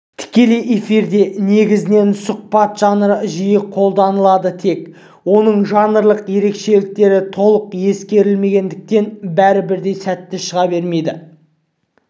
тікелей эфирде негізінен сұхбат жанры жиі қолданыладытек оның жанрлық ерекшкеліктері толық ескерілмегендіктен бәрі бірдей сәтті шыға бермейді